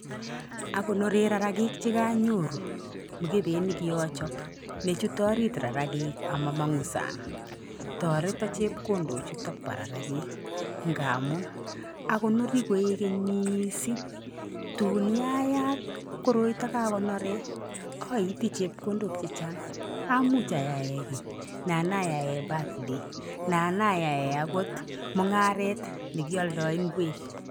Akonoren rarakik che konyoru mokubet nekiochop nejute orit rarakik amomongu sang, toreton chepkondo chutok bo rarakik ngamun akonorii koigeny missing tun kayat koroitok kakonoren oitii chepkondok chechang amuch ayae kii nan ayaen birthday nan ayae okot mungaret nekioldoo ingwek.